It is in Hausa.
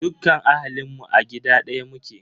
Dukkan ahalinmu a gida ɗaya muke.